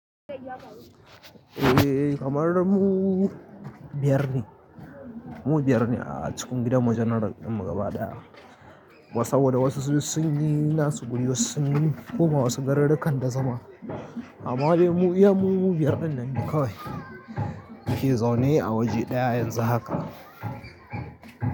Eh kamar mu biyar ne, mu biyar ne a cikin gidanmu. General ɗinmu gaba ɗaya. Saboda wasu sun yi nasu guri, wasu sun koma wasu garuruwan da zama. Amma dai mu iya mu biyar din nan ne kawai muke zaune a waje ɗaya yanzu haka.